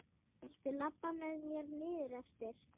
Viltu labba með mér niður eftir?